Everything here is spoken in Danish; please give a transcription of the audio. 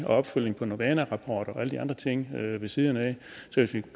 opfølgning på novana rapport og alle de andre ting ved siden af så hvis vi